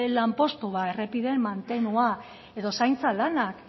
lanpostu ba errepideen mantenua edo zaintza lanak